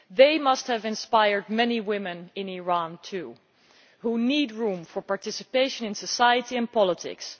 They must have inspired many women in Iran, too, who need room for participation in society and politics.